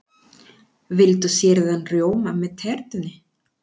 Viltu sýrðan rjóma með tertunni?